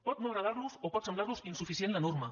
pot no agradar los o pot semblar los insuficient la norma